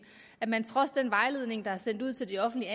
at man trods den vejledning der er sendt ud til de offentligt